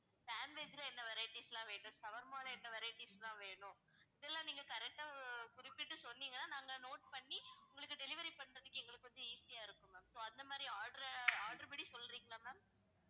sandwich ல என்ன varieties லாம் வேணும் shawarma ல என்ன varieties லாம் வேணும் இதெல்லாம் நீங்க correct ஆ குறிப்பிட்டு சொன்னீங்கன்னா நாங்க note பண்ணி உங்களுக்கு delivery பண்றதுக்கு எங்களுக்கு கொஞ்சம் easy யா இருக்கும் ma'am so அந்த மாதிரி order அ order பண்ணி சொல்றீங்களா ma'am